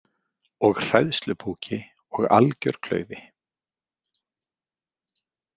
Og hræðslupúki og algjör klaufi